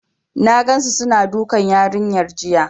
N gansu suna dukan yarinyar jiya.